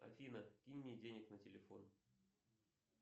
афина кинь мне денег на телефон